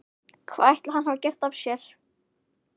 Hvað ætli hann hafi gert af sér?